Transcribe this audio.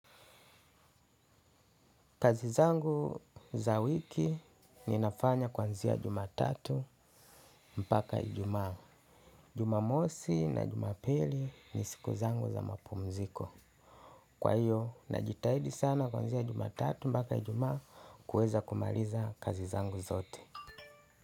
Kazi zangu za wiki ninafanya kuanzia jumatatu mpaka ijumaa. Jumamosi na jumapili ni siku zangu za mapumziko. Kwa hiyo, najitahidi sana kuanzia jumatatu mpaka ijumaa kuweza kumaliza kazi zangu zote.